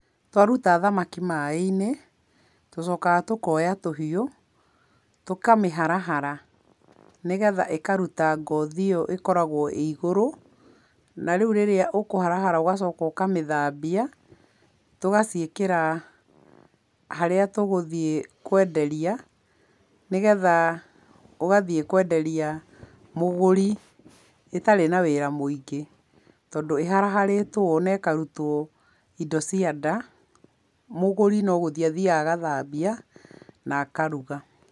Twaruta thamaki maĩ-inĩ tũcokaga tũkoya tũhiũ, tũkamĩharahara nĩgetha ĩkaruta ngothi ĩo ĩkoragwo ĩ igũrũ. Narĩu rĩrĩa ũgũcoka ũkaharahara arabu ũkamĩthambia, tũgaciĩkĩra harĩa tũgũthiĩ kwenderia nĩgetha ũgathiĩ kwenderia mũgũri ĩtarĩ na wĩra mũingĩ, tondũ ĩharaharĩtwo ũũ na ĩkarutwo indo cia nda, mũgũri no gũthiĩ athiaga gũthambia na akaruga.